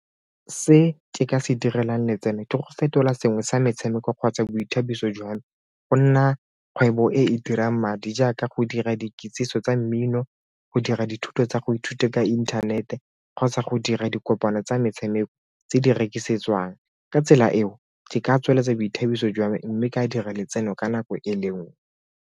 Se ke ka se direlang letseno di go fetola sengwe sa metshameko kgotsa boithabiso jwa me go nna kgwebo e e dirang madi jaaka go dira dikitsiso tsa mmino, go dira dithuto tsa go ithuta ka intanete kgotsa go dira dikopano tsa metshameko tse di rekisetse jwang ka tsela eo ke ka tsweletsa boithabiso jwa mme ka dira letseno ka nako e le nngwe.